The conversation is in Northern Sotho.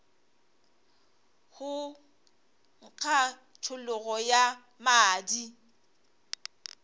go nkga tšhologo ya madi